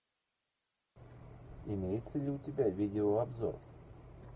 имеется ли у тебя видеообзор